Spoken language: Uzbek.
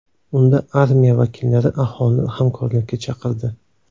Unda armiya vakillari aholini hamkorlikka chaqirdi.